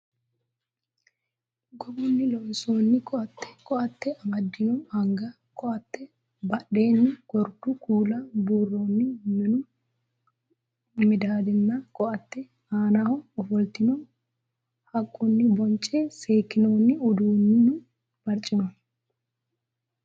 Gogunni loonsoonni koaatte, koaatte amaddino anga, koaatte badheenni gordu kuula buurroonni minu madaadanna koaatte aanaho ofoltino haqqunni bonce seekkinoonni uduunnu barcima.